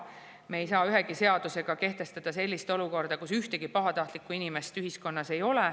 Me ei saa ühegi seadusega sellist olukorda, kus ühtegi pahatahtlikku inimest ühiskonnas ei ole.